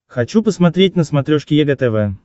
хочу посмотреть на смотрешке егэ тв